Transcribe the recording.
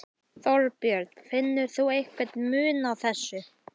Þorbjörn: Finnur þú einhvern mun á þessu?